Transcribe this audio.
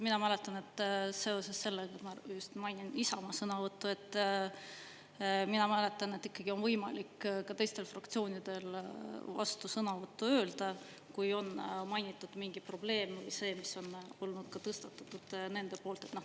Mina mäletan – seoses sellega ma mainin just Isamaa sõnavõttu –, et ikkagi on võimalik ka teistel fraktsioonidel vastusõnavõttu öelda, kui on mainitud mingit probleemi, seda, mis on olnud ka tõstatatud nende poolt.